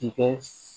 I kɛ s